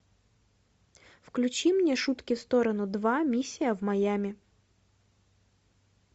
включи мне шутки в сторону два миссия в майами